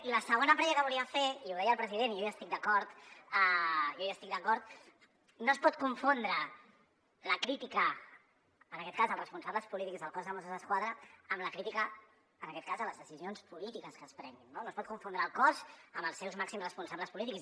i la segona prèvia que volia fer i ho deia el president i jo hi estic d’acord jo hi estic d’acord no es pot confondre la crítica en aquest cas als responsables polítics del cos de mossos d’esquadra amb la crítica en aquest cas a les decisions polítiques que es prenguin no no es pot confondre el cos amb els seus màxims responsables polítics